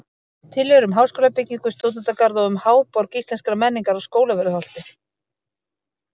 Tillögur um háskólabyggingu, stúdentagarð og um Háborg Íslenskrar menningar á Skólavörðuholti